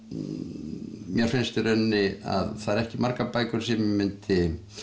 mér finnst í rauninni að það eru ekki margar bækur sem ég mundi